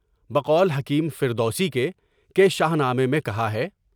بقول حکیم فردوسی کے کہ شاہنامے میں کہا ہے۔